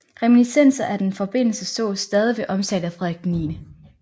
Reminiscenser af denne forbindelse sås stadig ved omtale af Frederik 9